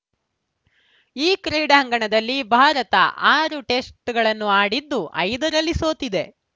ಈ ಕ್ರೀಡಾಂಗಣದಲ್ಲಿ ಭಾರತ ಆರು ಟೆಸ್ಟ್‌ಗಳನ್ನಾಡಿದ್ದು ಐದರಲ್ಲಿ ಸೋತಿದೆ